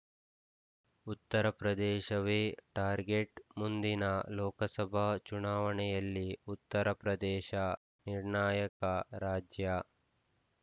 ಉತ್ತರಪ್ರದೇಶವೇ target ಮುಂದಿನ ಲೋಕಸಭಾ ಚುನಾವಣೆಯಲ್ಲಿ ಉತ್ತರ ಪ್ರದೇಶ ನಿರ್ಣಾಯಕ ರಾಜ್ಯ